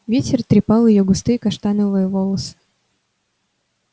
ветер трепал её густые каштановые волосы